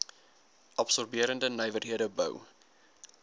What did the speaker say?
absorberende nywerhede bou